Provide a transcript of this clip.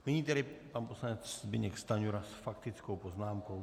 Nyní tedy pan poslanec Zbyněk Stanjura s faktickou poznámkou.